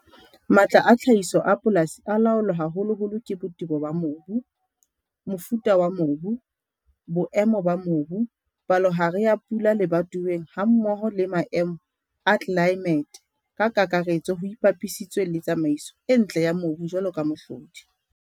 Matla a tlhahiso a polasi a laolwa haholoholo ke botebo ba mobu, mofuta wa mobu, boemo ba mobu, palohare ya pula lebatoweng hammoho le maemo a tlelaemete ka kakaretso ho ipapisitswe le tsamaiso e ntle ya mobu jwalo ka mohlodi.